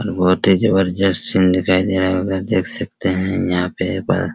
और बहुत ही जबरदस्त सीन दिखाई दे रहा होगा देख सकते है यहां पर बाहर।